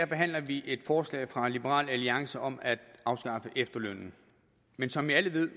behandler vi et forslag fra liberal alliance om at afskaffe efterlønnen men som alle ved